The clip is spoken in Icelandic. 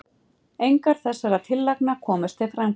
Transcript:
engar þessara tillagna komust til framkvæmda